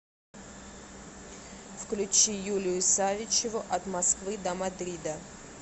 включи юлию савичеву от москвы до мадрида